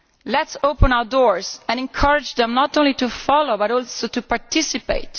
Let us open our doors and encourage them not only to follow, but also to participate.